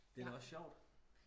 det er da også sjovt